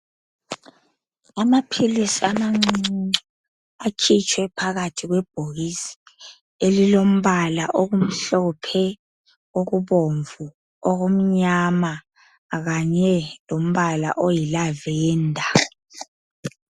Amaphilisi amancuncuncu akhitshe phakathi kwebhokisi elilombala okumhlophe, okubomvu, okumnyama kanye lombala iyilavenda.